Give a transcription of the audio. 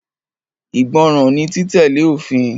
Ìgbọràn ni títẹ̀lé òfin.